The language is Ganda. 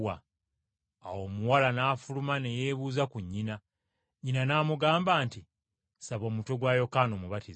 Awo omuwala n’afuluma ne yeebuuza ku nnyina. Nnyina n’amugamba nti, “Saba omutwe gwa Yokaana Omubatiza!”